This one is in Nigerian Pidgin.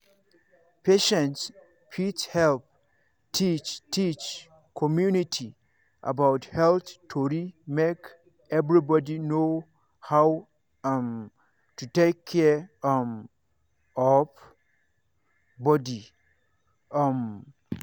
patients fit help teach teach community about health tori make everybody know how um to take care um of body. um